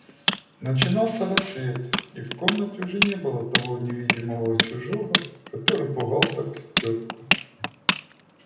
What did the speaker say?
начинался рассвет и в комнатке уже не было того невидимого чужого который пугал так тётку